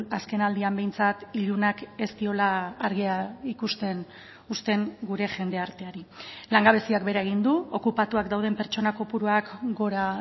azken aldian behintzat ilunak ez diola argia ikusten uzten gure jendarteari langabeziak behera egin du okupatuak dauden pertsona kopuruak gora